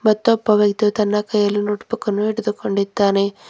ಮತ್ತೊಬ್ಬ ವ್ಯಕ್ತಿಯು ತನ್ನ ಕೈಯಲ್ಲಿ ನೋಟ್ ಬುಕ್ ಅನ್ನು ಹಿಡಿದುಕೊಂಡಿದ್ದಾನೆ.